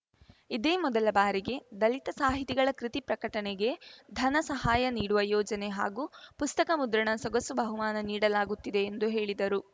ಇದೇ ಮೊದಲ ಬಾರಿಗೆ ದಲಿತ ಸಾಹಿತಿಗಳ ಕೃತಿ ಪ್ರಕಟಣೆಗೆ ಧನ ಸಹಾಯ ನೀಡುವ ಯೋಜನೆ ಹಾಗೂ ಪುಸ್ತಕ ಮುದ್ರಣ ಸೊಗಸು ಬಹುಮಾನ ನೀಡಲಾಗುತ್ತಿದೆ ಎಂದು ಹೇಳಿದರು